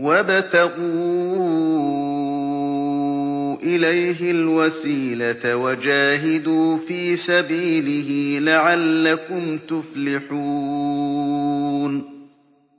وَابْتَغُوا إِلَيْهِ الْوَسِيلَةَ وَجَاهِدُوا فِي سَبِيلِهِ لَعَلَّكُمْ تُفْلِحُونَ